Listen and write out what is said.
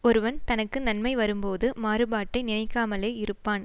ஒருவன் தனக்கு நன்மை வரும்போது மாறுபாட்டை நினைக்காமலே இருப்பான்